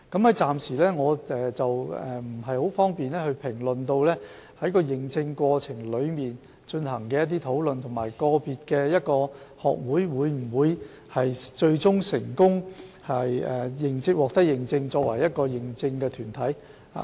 我暫時不便評論在認證過程中所進行的討論，以及個別學會最終能否成功獲認證為認可團體。